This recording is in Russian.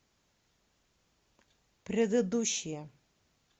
предыдущая